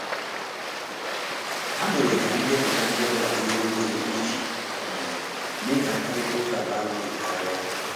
Ha mere ka ndepụta ndị ọbịa diri obere iji um mme ka mkparịta ụka bara ụrụ karia.